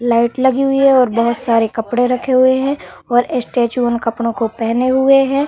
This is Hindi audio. लाइट लगी हुवी है और बहोत सारे कपडे रखे हुवे है और स्टैचू उन कपडों को पहने हुवे है।